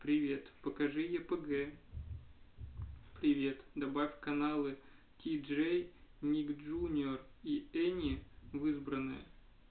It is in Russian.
привет покажи епг привет добавь каналы ти джей ник джуниор и эни в избранные